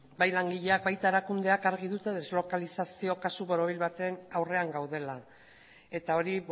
bai langileak baita erakundeak argi dute deslokalizazio kasu borobil baten aurrean gaudela eta hori